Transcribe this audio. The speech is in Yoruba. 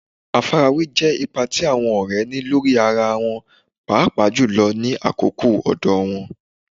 Àfarawé jẹ́ ipa tí àwọn ọ̀rẹ́ ní lórí ara wọn, pàápàá jùlọ ní àkókò ọ̀dọ̀ wọn.